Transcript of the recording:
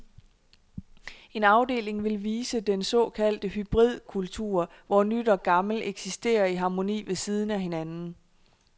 En afdeling vil vise den såkaldte hybridkultur, hvor nyt og gammel eksisterer i harmoni ved siden af hinanden.